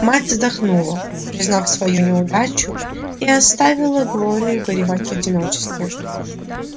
мать вздохнула признав свою неудачу и оставила глорию горевать в одиночестве